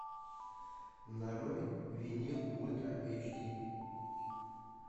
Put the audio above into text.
нарой винил ультра эйч ди